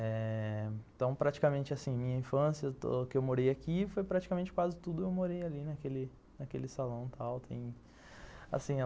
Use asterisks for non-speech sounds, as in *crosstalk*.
Eh... Então, praticamente assim, minha infância, *unintelligible* que eu morei aqui, foi praticamente quase tudo eu morei ali naquele naquele salão e tal, assim